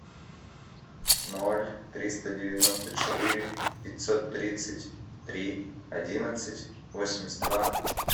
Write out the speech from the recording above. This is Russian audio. ноль триста девяносто четыре пятьсот тридцать три одиннадцать восемьдесят два